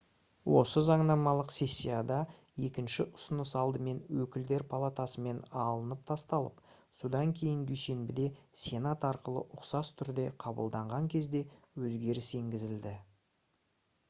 осы заңнамалық сессияда екінші ұсыныс алдымен өкілдер палатасымен алынып тасталып содан кейін дүйсенбіде сенат арқылы ұқсас түрде қабылдаған кезде өзгеріс енгізілді